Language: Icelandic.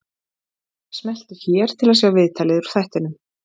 Smelltu hér til að sjá viðtalið úr þættinum